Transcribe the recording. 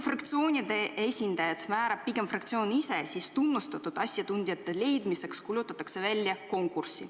Fraktsioonide esindajad määrab pigem fraktsioon ise, seevastu tunnustatud asjatundjate leidmiseks kuulutatakse välja konkurss.